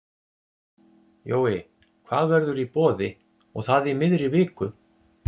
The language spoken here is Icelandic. Jói, hvað verður í boði og það í miðri viku?